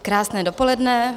Krásné dopoledne.